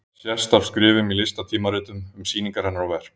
Það sést af skrifum í listatímaritum um sýningar hennar og verk.